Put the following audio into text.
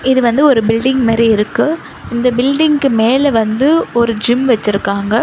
இது வந்து ஒரு பில்டிங் மெரி இருக்கு இந்த பில்டிங்கு மேல வந்து ஒரு ஜிம் வச்சிருக்காங்க.